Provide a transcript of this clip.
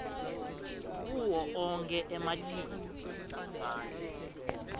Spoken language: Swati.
kuwo onkhe ematiko